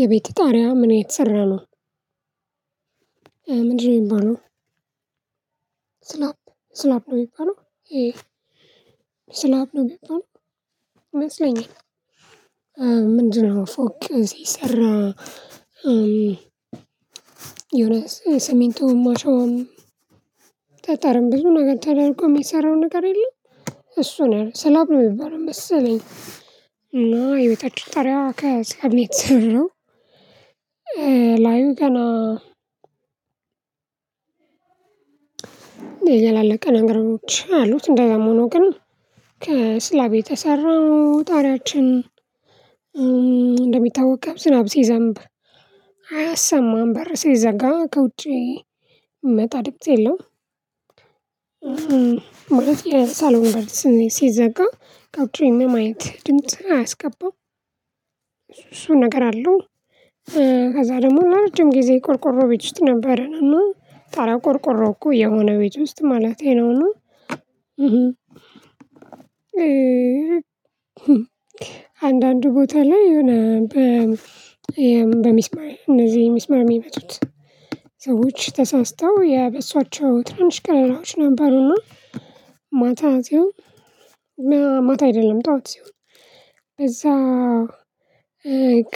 የቤት ጣሪያ ምን እተሰራ ነው? ምንድነው የሚባለው ስላፕ ስላፕ ነው የሚባለው ይሄ ስላፕ ነው የሚባለው ይመስለኛል ምንድነው ፎቅ ሲሰራ የሆነ ስሚንቶም አሸዋም ጠጠርም ብዙ ነገር ተደርጎ የሚሰራው ነገር የለም እሱ ነው ስላብ ነው የሚባለው መሰለኝ እና የቤታችን ጣሪያ ከስላብ ነው የተሰራው ላዩ ገና ያላለቀ ነገሮች አሉት እንዲያም ሆኖ ግን ከስላብ የተሰራ ነው ጣሪያችን እንደሚታወቀው ዝናብ ሲዘንብ አያሰማም በር ሲዘጋ ከውጪ የሚመጣ ድምጽ የለም ማለት የሳሎን በር ሲዘጋ ከውጪ ምንም አይነት ድምጽ አያስገባም እሱ እሱ ነገር አለው ከዛ ደግሞ ለረጅም ጊዜ ቆርቆሮ ቤት ነበርን እና ጣሪታው ቆርቆሮ እኮ የሆነ ቤት ውስጥ ማለቴ ነው እና አንዳንዱ ቦታ ላይ የሆነ በሚስማር እነዚህ ሚስማር የሚመጡት ሰዎች ተሳስተው የበሷቸው ትንሽ ቀዳዳዎች ነበሩና ማታ ሲሆን ማታ አይደለም ጣዋት ሲሆን በዛ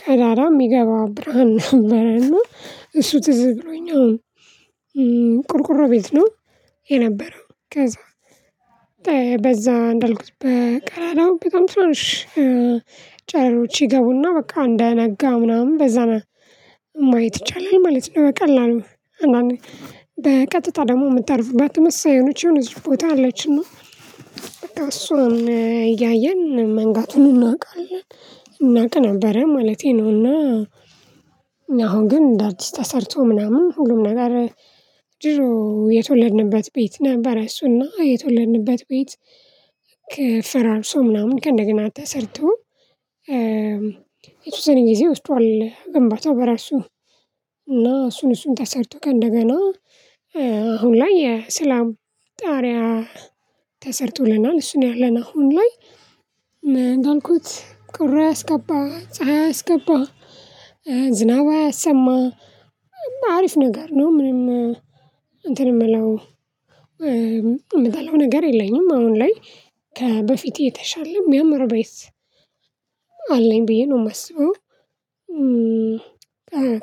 ቀዳዳ የሚገባው ብርሃን ነበረና እሱ ትዝ ብሎኝ አሁን ቁርቁሮ ቤት ነው የነበረው ከዛ በዛ እንዳልኩት በቀዳዳው በጣም ትናንሽ ጨረሮች ይገቡና በቃ እንዳያነጋ ምናምን በዛ ማየት ይቻላል ማለት ነው ቀላል ነው በቀጥታ ደግሞ የምታርፍባት ተመሳሳይ የሆነች የሆነች ቦታ አለችና በቃ እሷን እያየን መንጋቱን እናውቃለን እናውቅ ነበረ ማለቴ ነውና አሁን ግን እንደ አዲስ ተሰርቶ ምናምን ሁሉም ነገር የተወለድንበት ቤት ነበረ እሱና የተወለድንበት ቤት ከ ፈራርሶ ምናምን ከእንደገና ተሰርቶ የተወሰነ ጊዜ ወስዷል ግንባታው በራሱ እና እሱን እሱን ተሰርቶ ከእንደገና አሁን ላይ የስላም ጣሪያ ተሰርቶልናል እሱ ነው ያለን አሁን ላይ እንዳልኩት ቁራ አያስገባ ፀሀይ አይስገባ ዝናብ አያሰማ አሪፍ ነገር ነው ምንም እንትን የምለው የምጠላው ነገር የለኝም አሁን ላይ ከበፊቴ የተሻለ የሚያምር ቤት አለኝ ብዬ ነው የማስበው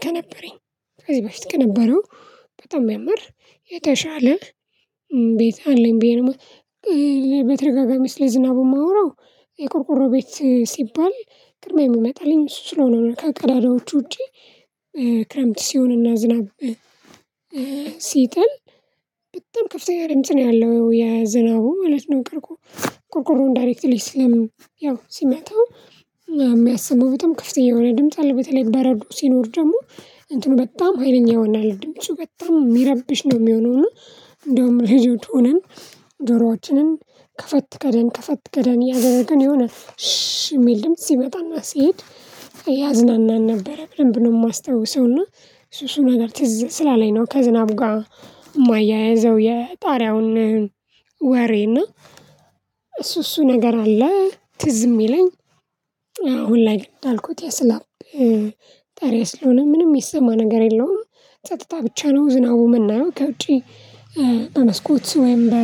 ከነበረኝ ከዚህ በፊት ከነበረው በጣም የሚያምር የተሻለ ቤት አለኝ ብዬ ነው በተረጋጋሚ ስለ ዝናቡ የማወራው የቆርቆሮ ቤት ሲባል ቅድሚያ የሚመጣልኝ እሱ ስለሆነ ነው ከቀዳዳዎቹ ውጪ ክረምት ሲሆንና ዝናብ ሲጥል በጣም ከፍተኛ ድምጽ ነው ያለው የ ዝናቡ ማለት ነው ቁርቁ ቆርቆሮውን ዳይሬክትሊ ስለምን ያው ሲመጣው የሚያሰማው በጣም ክፍተኛ የሆነ ድምጽ አለ በተለይ በረዶ ሲኖር ደግሞ እንትኑ በጣም ሀይለኛ ይሆናል ድምፁ በጣም የሚረብሽ ነው የሚሆነው እና እንደውም ልጆች ሆነን ከፈት ከደን ከፈት ከደን እያደረገን የሆነ ሽ የሚል ድምጽ ሲመጣና ሲሄድ ያዝናናል ነበር በደንብ ነው የማስታውሰው እና እሱ እሱ ነገር ትዝ ስላለኝ ነው ከዝናብ ጋር የማያይዘው የጣሪያውን ወሬ እና እሱ እሱ ነገር አለ ትዝ የሚለኝ አሁን ላይ እንዳልኩት የስላፕ ጣሪያ ስለሆነ ምንም የሚሰማ ነገር የለውም ጸጥታ ብቻ ነው ዝናቡ የምናየው ከውጪ በመስኮት ወይም በ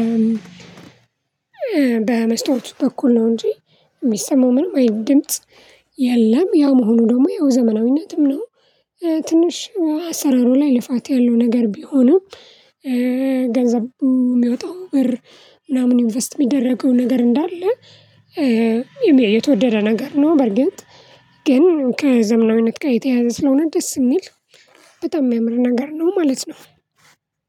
በመስተዋት በኩል ነው እንጂ የሚሰማው ምናምን አይነት ድምጽ የለም ያው መሆኑ ደግሞ ያው ዘመናዊነትም ነው ትንሽ አሰራሩ ላይ ልፋት ያለው ነገር ቢሆንም ገንዘቡ የሚያወጣው ብር ምናምን ኢንቨስት የሚደረገው ነገር እንዳለ የተወደደ ነገር ነው በርግጥ ግን ከዘመናዊነት ጋር የተያያዘ ስለሆነ ደስ የሚል በጣም የሚያምር ነገር ነው ማለት ነው